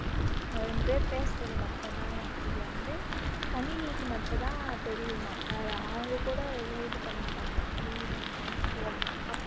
நாங்க ரெண்டு பேரு பேசுறது மட்டும் தான் இது வந்து கணினிக்கு மட்டும்தான் தெரியுமாம் வேற அவங்க கூட எதுவும் இது பண்ண மாட்டாங்களாம் கணினிக்கு மட்டும்தான்